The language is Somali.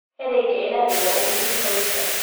Erayga Ilaahay waa u muhiim qoyska.